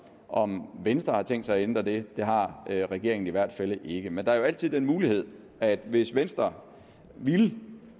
om venstre har tænkt sig at ændre det det har regeringen i hvert fald ikke men der er jo altid den mulighed at hvis venstre ville